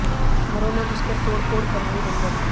घरों में घुसकर तोड़ फोड़ कर रहे बंदर